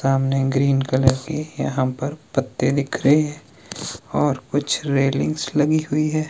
सामने green colour के यहां पर पत्ते दिख रहे हैं और कुछ रेलिंग्स लगी हैं।